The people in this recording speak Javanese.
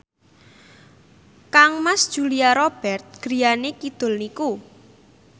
kangmas Julia Robert griyane kidul niku